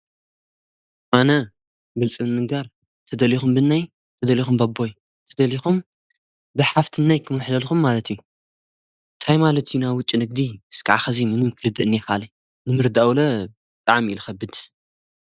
ኣነ ብልጽምንጋር ተደልኹም ብናይ ተደልኹም በቦይ ተደሊኹም ብሓፍትናይ ክምኣሕለልኩም ማለት እዩ ታይ ማለት እዩ ናብ ውጭ ንእግዲ ዝከዓ ኸዚ ምኑን ክርድአእን የኻለ ንምርዳኣውለ ጠዓም ኢልኸብድ።